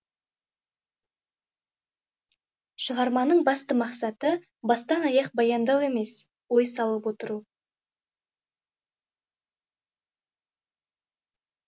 шығарманың басты мақсаты бастан аяқ баяндау емес ой салып отыру